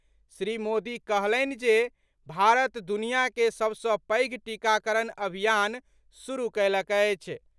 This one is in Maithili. श्री मोदी कहलनि जे भारत दुनिया के सभ सँ पैघ टीकाकरण अभियान शुरू कयलक अछि।